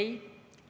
Ei.